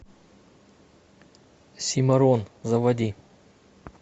симорон заводи